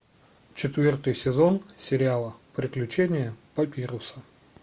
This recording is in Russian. четвертый сезон сериала приключения папируса